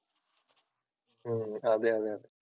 ഉം അതെ അതെ അതെ